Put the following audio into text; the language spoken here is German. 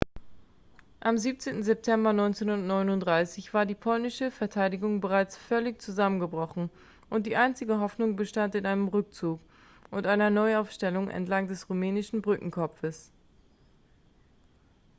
am 17. september 1939 war die polnische verteidigung bereits völlig zusammengebrochen und die einzige hoffnung bestand in einem rückzug und einer neuaufstellung entlang des rumänischen brückenkopfes